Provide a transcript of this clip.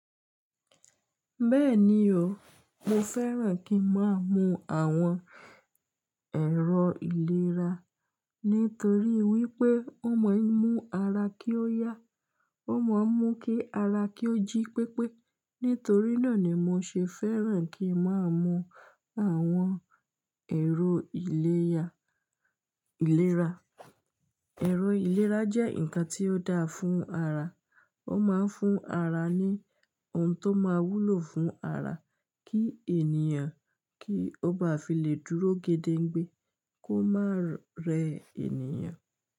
Bẹ́ẹ̀ni o, mo fẹ́ràn kí n máa mu àwọn ẹ̀rọ ìlera, nítorí wípé ó máa ń mú ara kí ó yá, ó máa ń mú kí ara kí ó jí pépé. Nítorí náà ni mo ṣe fẹ́ràn kí n máa mu àwọn ẹ̀rọ ìlérà, ìlera. Ẹ̀rọ ìlera jẹ́ ǹkan tí ó dáa fún ara, ó máa ń fún ara ní ohun tó máa wúlò fún ara kí ènìyàn kí ó bá fi lè dúró gẹ́dẹ́ gbẹ, kó má rẹ ènìyàn.